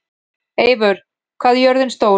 Eivör, hvað er jörðin stór?